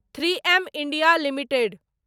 three M India limited